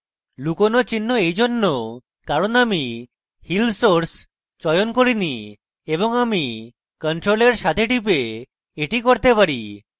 লুকোনো চিহ্ন এইজন্য কারণ আমি heal source চয়ন করিনি এবং আমি control এর সাথে টিপে the করতে পারি